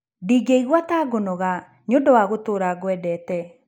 Ndingĩigua ta ngũnoga nĩ ũndũ wa gũtũũra ngwendete.